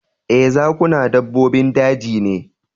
Ee, zakuna dabbobin daji ne